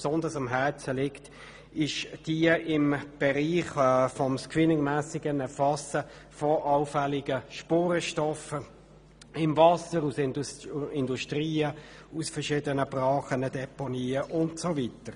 Besonders am Herzen liegt uns die Planungserklärung 3 zum screeningmässigen Erfassen von allfälligen Spurenstoffen im Abwasser aus Industrien, Brachen, Deponien und so weiter.